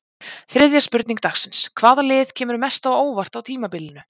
Þriðja spurning dagsins: Hvaða lið kemur mest á óvart á tímabilinu?